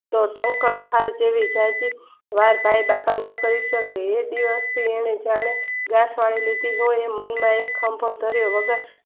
તોટંકાર જેવી વાર કાય બાપા ન કરી શકે એ દિવસ થી એની ઝડપ મનમાં એક ખંભો કર્યો